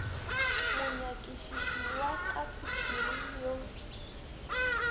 monyakišiši wa ka sephiring yo